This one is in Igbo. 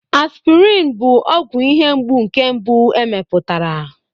Aspirin bụ ọgwụ ihe mgbu nke mbụ e mepụtara.